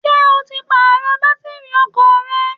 Ṣé o ti Pààrọ̀ bátìrì ọkọ̀ rẹ?